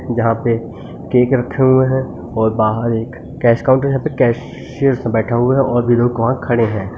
जहां पे केक रखे हुए हैं और बाहर एक कैश काउंटर है यहां पर कैशियरस बैठा हुआ है और भी लोग वहां खड़े हैं।